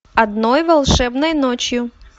одной волшебной ночью